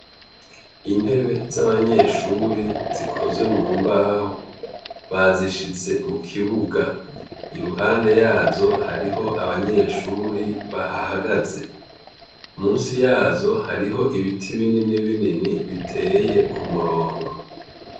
Intebe z'abanyeshure zikoze mu mbaho bazishize mukibuga. Iruhande yazo hariho abanyeshure bahahagaze. Musi yazo hariho ibiti bininibinini biteye ku murongo.